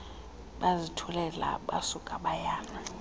bazithulela basuka bayana